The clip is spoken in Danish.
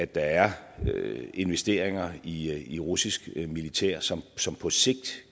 der er investeringer i i russisk militær som som på sigt